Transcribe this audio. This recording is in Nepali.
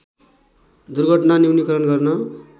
दुर्घटना न्यूनिकरण गर्न